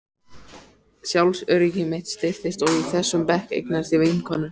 Sjálfsöryggi mitt styrktist og í þessum bekk eignaðist ég vinkonur.